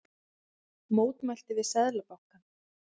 Mótmælt við Seðlabankann